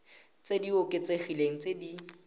tse di oketsegileng tse di